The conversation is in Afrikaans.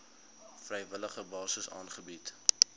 vrywillige basis aangebied